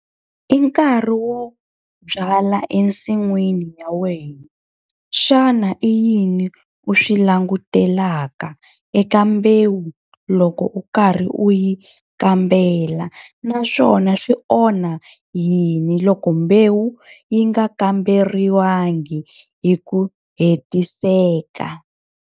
I nkarhi wo byala ensin'wini ya wena. Xana i yini u swi langutelaka eka mbewu loko u karhi u yi kambela? Naswona swi onha yini loko mbewu yi nga kamberiwangi hi ku hetiseka?